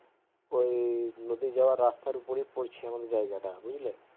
ও নদী যাওয়া রাস্তা উপরে পড়ছে আমাদের জায়গাটা বুঝলে